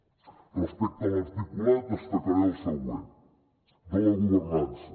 respecte a l’articulat destacaré el següent de la governança